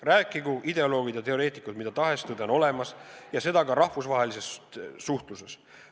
Rääkigu ideoloogid ja teoreetikud mida tahes, tõde on olemas, ja seda ka rahvusvahelises suhtluses.